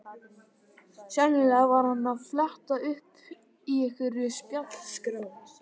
Sennilega var hann að fletta upp í einhverri spjaldskrá.